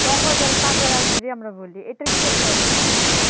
বঙ্গজল বলি এটার কী একটা অবস্থা?